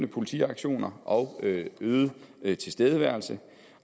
politiaktioner og øget øget tilstedeværelse